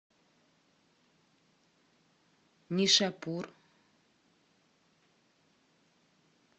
нишапур